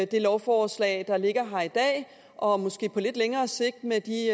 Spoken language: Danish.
det lovforslag der ligger her i dag og måske på lidt længere sigt med de